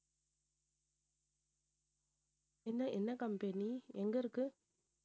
என்ன என்ன company எங்க இருக்கு